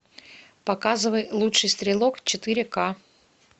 показывай лучший стрелок четыре ка